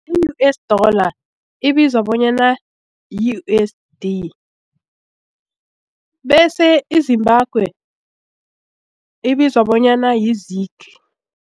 I-US Dollar ibizwa bonyana yi U_S_D bese i-Zimbabwe ibizwa bonyana yi